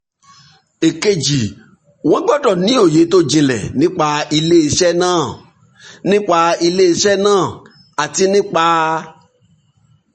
èkejì wọ́n gbọ́dọ̀ ní òye tó jinlẹ̀ nípa iléeṣẹ́ náà nípa ilé iṣẹ́ náà àti nípa